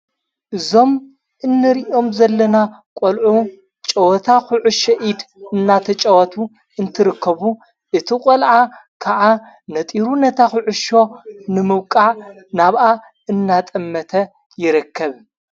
እዞም እንርእኦም ዘለና ቖልዑ ጨወታ ዂዑ ሸኢድ እናተ ጨወቱ እንትርከቡ እቲ ቖልዓ ከዓ ነጢሩ ነታ ዂዑሸ ንምውቃ ናብኣ እናጠመተ ይረከብ።